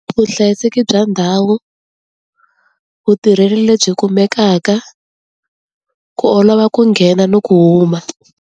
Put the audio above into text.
Vuhlayiseki bya ndhawu, vutirheli lebyi kumekaka, ku olova ku nghena no ku huma.